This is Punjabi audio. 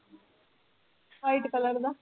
White color the